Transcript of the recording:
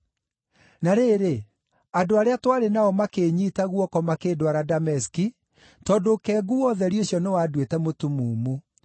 Na rĩrĩ, andũ arĩa twarĩ nao makĩĩnyiita guoko makĩndwara Dameski, tondũ ũkengu wa ũtheri ũcio nĩwanduĩte mũtumumu.